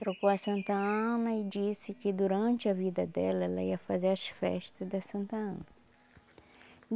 Trocou a Santa Ana e disse que durante a vida dela ela ia fazer as festas da Santa Ana.